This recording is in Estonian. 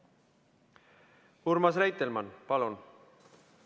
Urmas Reitelmann, palun!